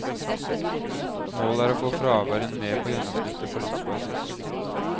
Målet er å få fraværet ned på gjennomsnittet på landsbasis.